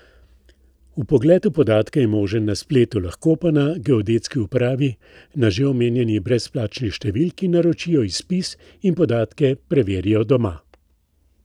Vpogled v podatke je možen na spletu, lahko pa na geodetski upravi na že omenjeni brezplačni številki naročijo izpis in podatke preverijo doma.